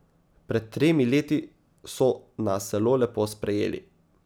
Pred tremi leti so nas zelo lepo sprejeli.